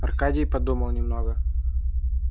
аркадий подумал немного